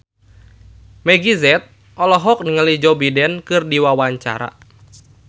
Meggie Z olohok ningali Joe Biden keur diwawancara